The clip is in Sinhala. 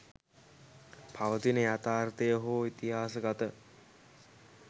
පවතින යථාර්ථය හෝ ඉතිහාසගත